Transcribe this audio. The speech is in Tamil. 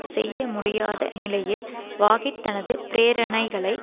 செய்யமுடியாத நிலையில் வாகிட் தனது பிரேரணைகளை